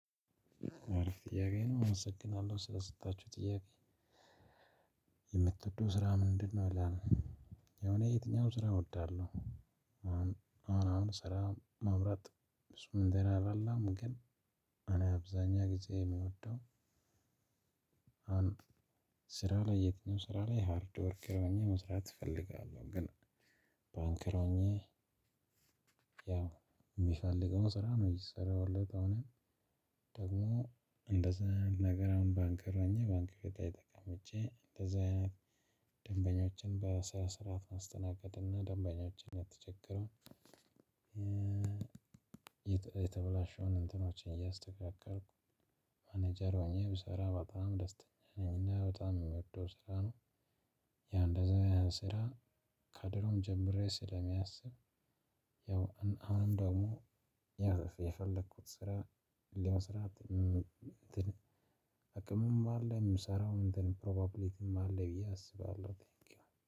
አሪፍ ጥያቄ ነው አመሰግናለሁ ስለሰጣችሁት ጥያቄ? የምትወደው ስራ ምንድ ነው ይላል? ያው እኔ የትኛውም ስራ እወዳለሁ። አሁ አሁን አሁን ስራ ማውራት ብዙም እንትን አይደለም። ግን እኔ አብዛኛ ጊዜ እምወደው ስራ ላይ የትኛውም ስራ ላይ ሃርድ ወርክ ሆኜ መስራት እፈልጋለሁ። ግን ባንከር ሆኜ። ያው እሚፈልገውን ስራ ነው የሰራሁለት። አሁን ደግሞ እንደዛ ነገር ባንከር ሆኛ ባንክ ቤት ላይ ተቀምጬ እንደዛ ደንበኞችን በስነ ስርዓት ማስተናገድ እና ደንበኞችን የተቸገረውን። ነገሮችን እያስተካከልኩ ማናጀር ሆኘ ብሰራ በጣም ደስተኛ ነኝ። እና በጣም እምወደው ስራ ነው። ያው እንደዚህ አይነት ስራ ከድሮ ጀምሬ ስለማስብ። ያው አሁንም ደግሞ የፈለኩት ስራ ለመስራት እንትን አቅምም አለ እምሰራው እንትን ፕሮባብሊቲም አለ ብዬ አስባለሁ ቴንኪው